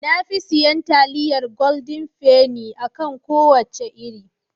Na fi siyan taliyar goldin feni (Golden penny) a kan kowace iri.